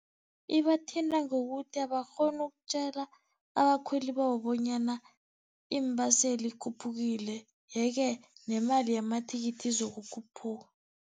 Ibathinta ngokuthi abakghoni ukutjela abakhweli babo, bonyana iimbaseli ikhuphukile, ye-ke nemali yamathikithi izokukhuphuka.